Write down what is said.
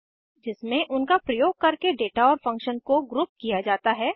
जिसमे उनका प्रयोग करके डेटा और फंक्शन को ग्रुप किया जाता है